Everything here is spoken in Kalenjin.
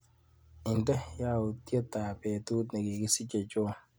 Indee yautyetap betut nikikisiche John.